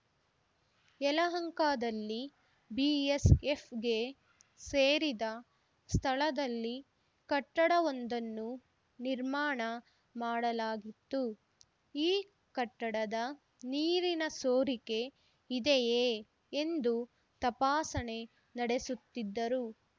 ಯಲಹಂಕದಲ್ಲಿ ಬಿಎಸ್‌ಎಫ್‌ಗೆ ಸೇರಿದ ಸ್ಥಳದಲ್ಲಿ ಕಟ್ಟಡವೊಂದನ್ನು ನಿರ್ಮಾಣ ಮಾಡಲಾಗಿತ್ತು ಈ ಕಟ್ಟಡದ ನೀರಿನ ಸೋರಿಕೆ ಇದೆಯೇ ಎಂದು ತಪಾಸಣೆ ನಡೆಸುತ್ತಿದ್ದರು